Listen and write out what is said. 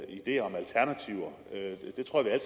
ideer om alternativer det tror jeg